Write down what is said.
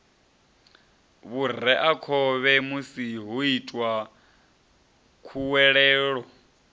vhureakhovhe musi ho itwa khuwelelo